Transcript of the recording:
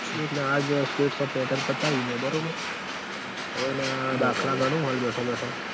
એ જ ન આજ states of metal પતાવ્યું મેં બરોબર અવ એના દાખલા ઘણું હું બેઠો બેઠો